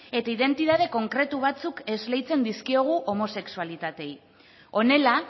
eta identitatea konkretu batzuk esleitzen dizkiegu homosexualitateei honela